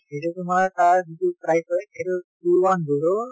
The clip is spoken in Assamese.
সেইটো তোমাৰ তাৰ যিটো price হয় সেইটো two one zero